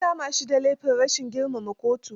An kama shi da laifin rashin girmama kotu.